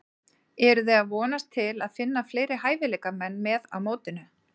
Eruði að vonast til að finna fleiri hæfileikamenn með á mótinu?